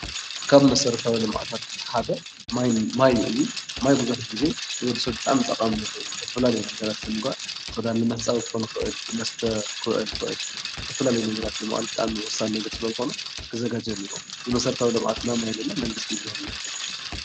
ካብ መሰረታዊ ልምዓታት ሓደ ማይ እዩ፡፡ ማይ ብዙሕ ጊዜ ንወዲ ሰብ ብጣዕሚ ጠቓሚ ነገር እዩ፡፡ ዝተፈላለዩ ነገራት ንምግባር፣ ክዳን ንምሕፃብ ክኾን ይኽእል፣ ንመስተ ክውዕል ይኽእል፣ ብዝተፈላለዩ ነገራት ብጣዕሚ ወሳኒ ነገር ስለልኾነ ክዘጋጀ እኒሀዎ፡፡ እዚ መሰረታዊ ልምዓት ናይ ማይ ለለ መንግስቲ እዩ ብዙሕ ግዜ ዘዘጋጅዎ።